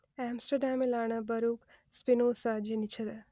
ആംസ്റ്റർഡാമിലാണ് Baruch Spinoza ജനിച്ചത്